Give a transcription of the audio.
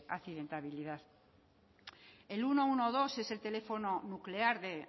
accidentabilidad el ciento doce es el teléfono nuclear de